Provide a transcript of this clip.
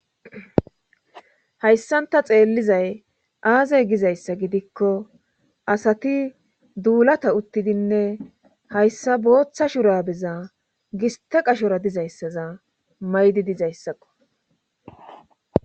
hayssan ta xeellizay aaze gizayssa gidikko asati duulata uttidinne hayssa booththa shurabeza gista qashora dizayssaza maydi dizayssakko